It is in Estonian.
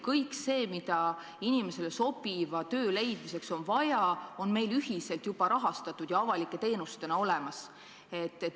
Kõik see, mida inimesele sobiva töö leidmiseks on vaja, on meil juba ühiselt rahastatud ja avalike teenustena olemas.